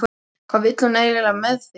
Hvað vill hún eiginlega með þig?